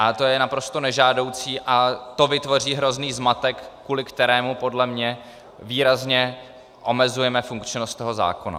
A to je naprosto nežádoucí a to vytvoří hrozný zmatek, kvůli kterému podle mě výrazně omezujeme funkčnost toho zákona.